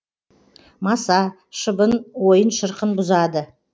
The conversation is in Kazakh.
маса шыбын ойын шырқын бұзады